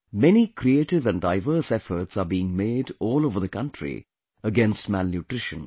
Many creative and diverse efforts are being made all over the country against malnutrition